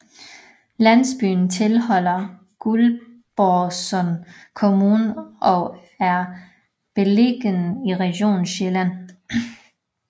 Landsbyen tilhører Guldborgsund Kommune og er beliggende i Region Sjælland